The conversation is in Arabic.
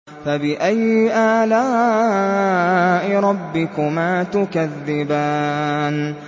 فَبِأَيِّ آلَاءِ رَبِّكُمَا تُكَذِّبَانِ